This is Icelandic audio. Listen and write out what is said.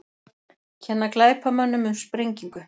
Kenna glæpamönnum um sprengingu